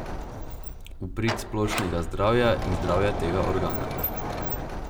V prid splošnega zdravja in zdravja tega organa.